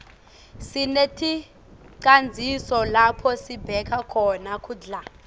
sineticandzisa lapho sibeka khona kudla